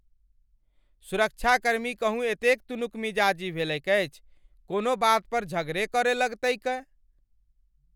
सुरक्षाकर्मी कहूँ एतेक तुनकमिजाजी भेलैक अछि कोनो बात पर झगडे करय लगतैकए ।